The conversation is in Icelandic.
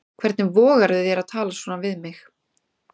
Hvernig vogar þú þér að tala svona við mig.